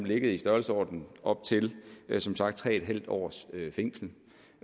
ligget i størrelsesordenen op til som sagt tre en halv års fængsel